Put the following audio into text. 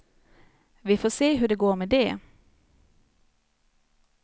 Vi får se hur det går med det.